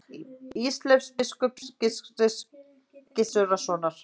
Ísleifs biskups Gizurarsonar.